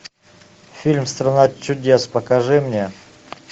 фильм страна чудес покажи мне